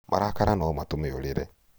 marakara no matũme ũrĩre